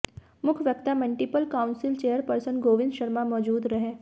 मुख्य वक्ता multiple council chairperson Govind Sharma मौजूद रहे